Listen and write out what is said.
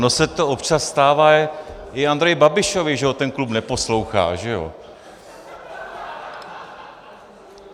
Ono se to občas stává i Andreji Babišovi, že ho ten klub neposlouchá, že jo?